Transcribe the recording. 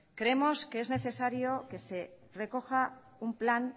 creemos que es necesario que se recoja un plan